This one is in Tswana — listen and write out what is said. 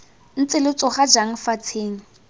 ntse lo tsoga jang fatsheng